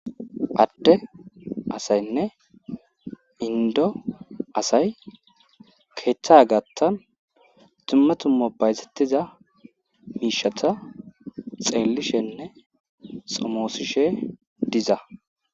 Atte asaynne indo asay keeththa gattan dumma tummobayzettiza miishata xeellishenne somoosishe diza.